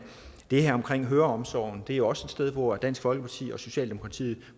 det her med høreomsorgen jo også er sted hvor dansk folkeparti og socialdemokratiet